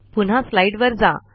पुन्हा स्लाईडवर जा